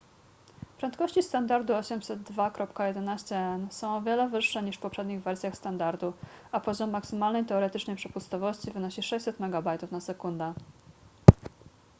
prędkości standardu 802.11n są o wiele wyższe niż w poprzednich wersjach standardu a poziom maksymalnej teoretycznej przepustowości wynosi 600 mb/s